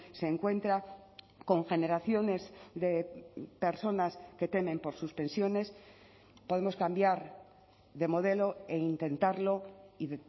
se encuentra con generaciones de personas que temen por suspensiones podemos cambiar de modelo e intentarlo y